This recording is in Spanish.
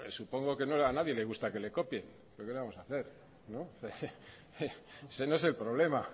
supongo que a nadie le gusta que le copien pero que le vamos a hacer ese